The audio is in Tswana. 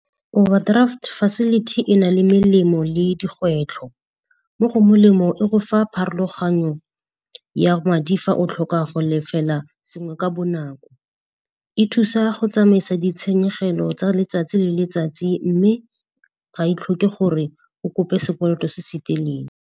Overdraft facility e na le melemo le digwetlho. Mo go melemo e go fa pharologanyo ya madi fa o tlhoka go lefela sengwe ka bonako. E thusa go tsamaisa ditshenyegelo tsa letsatsi le letsatsi mme ga e tlhoke gore o kope sekoloto se se teleele.